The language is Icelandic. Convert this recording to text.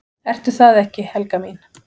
"""Ertu það ekki, Helga mín?"""